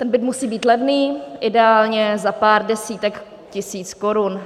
Ten byt musí být levný, ideálně za pár desítek tisíc korun.